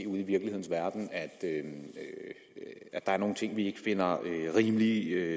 ude i virkelighedens verden er nogle ting vi ikke finder rimelige